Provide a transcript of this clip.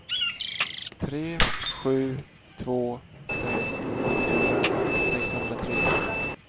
tre sju två sex åttiofyra sexhundratre